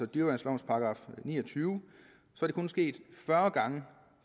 dyreværnslovens § ni og tyve er det kun sket fyrre gange